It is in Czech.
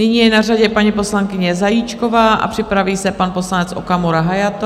Nyní je na řadě paní poslankyně Zajíčková a připraví se pan poslanec Okamura Hayato.